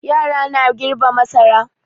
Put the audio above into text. Yara na girbe masara.